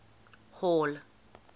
hall